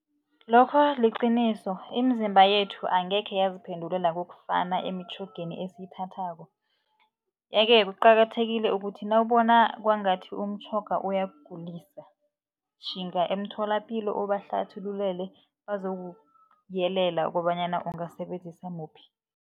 Lokho liqiniso imizimba yethu angekhe yaziphendulela kokufana emitjhogeni esiyithathako. Ye-ke kuqakathekile ukuthi nawubona kwangathi umtjhoga uyakugulisa, tjhinga emtholapilo ubahlathululele bazokuyelela kobanyana ungasebenzisa muphi.